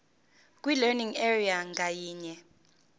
kwilearning area ngayinye